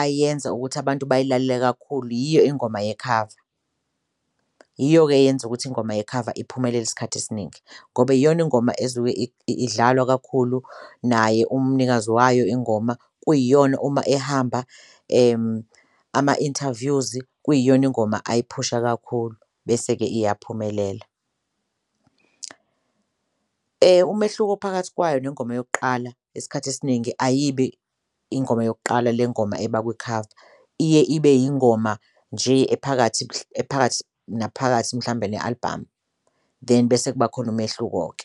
ayenza ukuthi abantu bayilalele kakhulu yiyo ingoma yekhava. Yiyo-ke eyenza ukuthi ingoma yekhava iphumelele isikhathi esiningi ngoba iyona ingoma esuke idlalwa kakhulu, naye umnikazi wayo ingoma kuyiyona uma ehamba ama-interviews kuyiyona ingoma ayiphusha kakhulu bese-ke iyaphumelela. Umehluko phakathi kwayo nengoma yokuqala isikhathi esiningi ayibi ingoma yokuqala le ngoma eba kwikhava iye ibe ingoma nje ephakathi ephakathi naphakathi mhlambe ne-album, then bese kuba khona umehluko-ke.